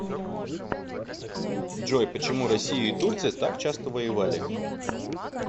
джой почему россия и турция так часто воевали